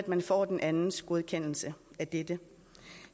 man får den andens godkendelse af dette